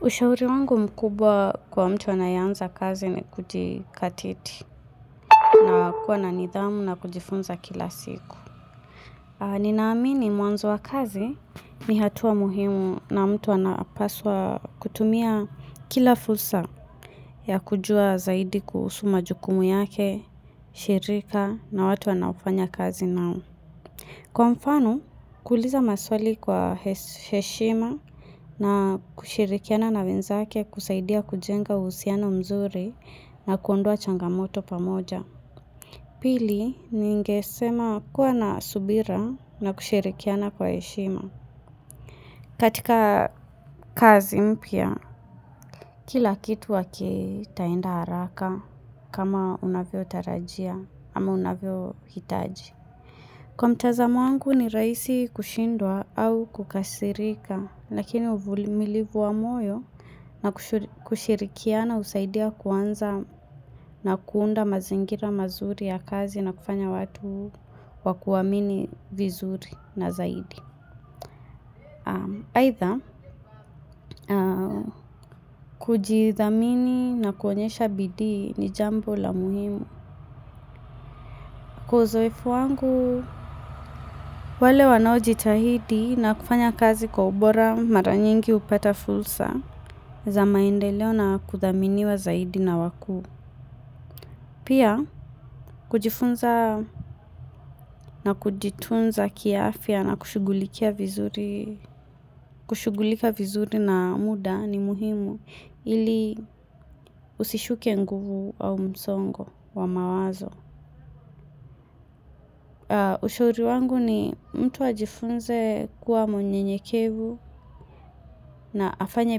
Ushauri wangu mkubwa kwa mtu anayeanza kazi ni kujikatiti na kuwa na nidhamu na kujifunza kila siku. Ninaamini mwanzo wa kazi ni hatua muhimu na mtu anapaswa kutumia kila fursa ya kujua zaidi kusoma jukumu yake, shirika na watu anaofanya kazi nao. Kwa mfano, kuuliza maswali kwa heshima na kushirikiana na wenzake kusaidia kujenga uhusiano mzuri na kuondoa changamoto pamoja. Pili, ningesema kuwa na subira na kushirikiana kwa heshima. Katika kazi mpya, kila kitu wake haitaenda haraka kama unavyotarajia ama unavyohitaji. Kwa mtazamo wangu ni rahisi kushindwa au kukasirika, lakini uvulimilivu wa moyo na kushirikiana usaidia kuanza na kuunda mazingira mazuri ya kazi na kufanya watu wakuamini vizuri na zaidi. Aidha, kujidhamini na kuonyesha bidii ni jambo la muhimu. Kwa uzoefu wangu, wale wanaojitahidi na kufanya kazi kwa ubora mara nyingi hupata fursa za maendeleo na kuthaminiwa zaidi na wakuu. Pia, kujifunza na kujitunza kiafya na kushughulikia vizuri kushughulika vizuri na muda ni muhimu ili usishuke nguvu au msongo wa mawazo. Ushauri wangu ni mtu ajifunze kuwa mnyenyekevu na afanye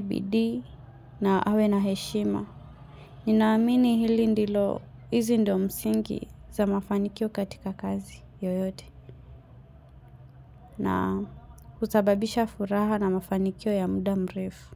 bidii na awe na heshima. Ninaamini hili ndilo, hizi ndio msingi za mafanikio katika kazi yoyote. Husababisha furaha na mafanikio ya muda mrefu.